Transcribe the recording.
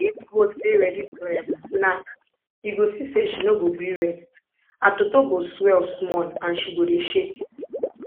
if goat dey ready to um knack you go see say she no go gree rest her toto go swell small and she go dey shake